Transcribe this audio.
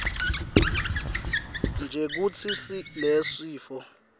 nje kutsi lesifo